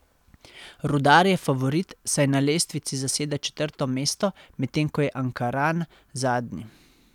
Rudar je favorit, saj na lestvici zaseda četrto mesto, medtem ko je Ankaran zadnji.